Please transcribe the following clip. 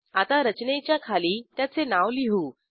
आता रचनेच्या खाली त्याचे नाव लिहू